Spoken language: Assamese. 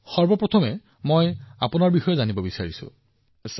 সবাতোকৈ প্ৰথমে মই বিচাৰিম যে আপুনি নিজৰ বিষয়ে নিশ্চয়কৈ জনাওক